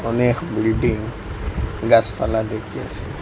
অনেক বিল্ডিং গাসপালা দেখিয়াসি।